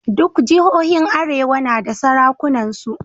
Duk jihohin arewa na da sarakunansu.